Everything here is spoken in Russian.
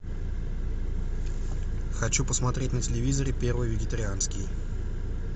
хочу посмотреть на телевизоре первый вегетарианский